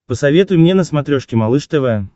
посоветуй мне на смотрешке малыш тв